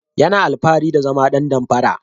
Yana alfahari da zama dan damfara.